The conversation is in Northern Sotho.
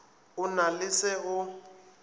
o na le se o